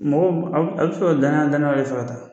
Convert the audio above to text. Mɔgɔw a b [? a b sɔrɔ daɲa danaw ye fɛ ka taa